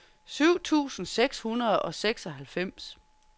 syv tusind seks hundrede og seksoghalvfems